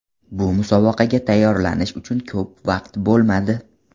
Bu musobaqaga tayyorlanish uchun ko‘p vaqt bo‘lmadi.